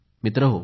मित्रांनो